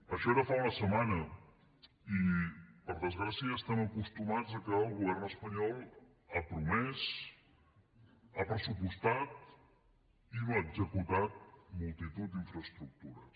això era fa una setmana i per desgràcia ja estem acostumats a que el govern espanyol prometi pressuposti i no executi multitud d’infraestructures